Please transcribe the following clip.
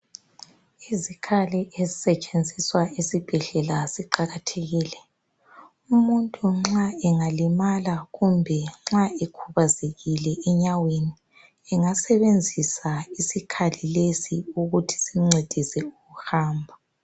Izikhali ezisetshenziswa esibhedlela ziqakathekile. Umuntu nxa engalimala kumbe nxa ekhubazekile enyaweni, engasebenzisa isikhali lesi ukuthi simncedise ukuhamba.